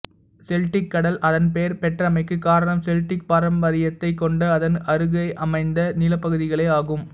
Celtic கடல் அதன் பெயர் பெற்றமைக்கு காரணம் செல்ட்டிக் பாரம்பரியத்தைக் கொண்ட அதன் அருகமைந்த நிலப்பகுதிகளே ஆகும்